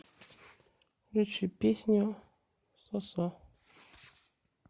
включи песню сосо